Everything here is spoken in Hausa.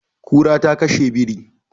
Kura ta kashe biri.